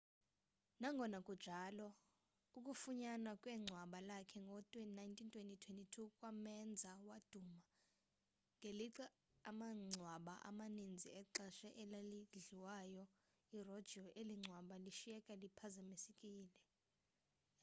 nangona kunjalo ukufunyanwa kwengcwaba lakhe ngo-1922 kwamenza waduma ngelixa amangcwaba amaninzi exesha eladlilayo erojiwe eli ngcwaba lashiyeka liphazamisekile